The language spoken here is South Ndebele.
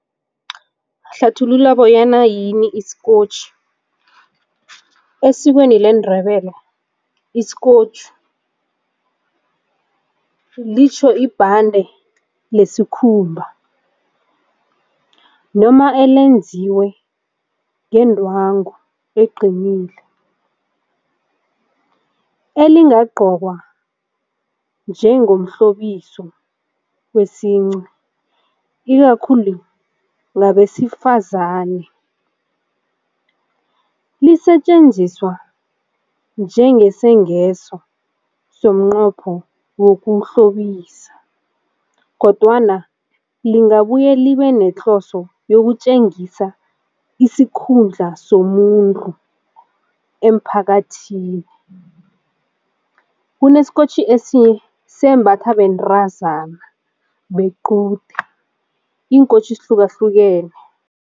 Hlathulula bonyana yini isikotjhi. Esikweni leNdebele isikotjhi litjho ibhande lesikhumba noma elenziwe ngendwangu eqinile elingagqokwa njengomhlobisa wesince ikakhulu ngabesifazane. Lisetjenziswa njengesengeswa somnqwapho wokuhlobisa kodwana lingabuya libe nehloso yokutjengisa isikhundla somuntu emphakathini. Kunesikotjhi sembathwa bentazana bequde iinkotjhi zihlukahlukene.